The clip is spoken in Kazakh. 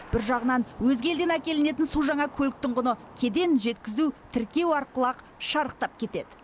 бір жағынан өзге елден әкелінетін су жаңа көліктің құны кеден жеткізу тіркеу арқылы ақ шарықтап кетеді